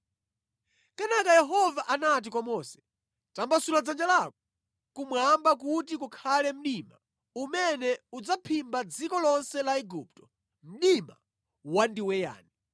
Kenaka Yehova anati kwa Mose, “Tambasulira dzanja lako kumwamba kuti kukhale mdima umene udzaphimba dziko lonse la Igupto, mdima wandiweyani.”